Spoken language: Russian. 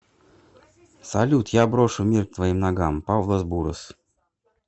салют я брошу мир к твоим ногам павлос бурос